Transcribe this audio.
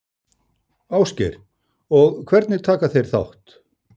Ásgeir: Og hvernig taka þeir þátt?